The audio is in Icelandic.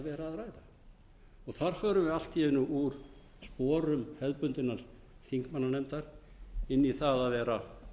að ræða þar vörum við allt í einu úr sporum hefðbundinnar þingmannanefndar inn í það að vera